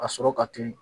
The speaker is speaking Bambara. A sɔrɔ ka teli